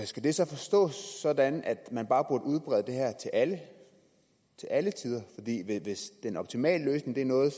skal det så forstås sådan at man bare burde udbrede det her til alle til alle tider hvis den optimale løsning er noget